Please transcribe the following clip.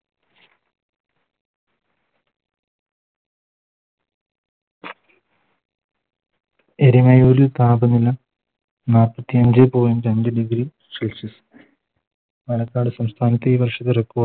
എരുമേലി താപനില നാപ്പത്തി അഞ്ചേ Point രണ്ട് Degree celsius പാലക്കാട് സംസ്ഥാനത്തെ ഈ വർഷത്തെ Record